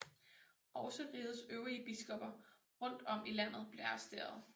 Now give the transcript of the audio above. Også rigets øvrige biskopper rundt om i landet blev arresterede